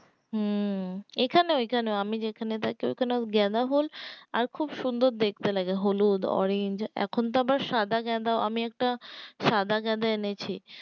হম এখানেও এখানেও আমি যেখানে থাকি ওখানে ও গাঁদাফুল আর খুব সুন্দর দেখতে লাগে হলুদ orange এখন তো আবার সাদা গাঁদা ও আমি একটা সাদা গাঁদা এনেছি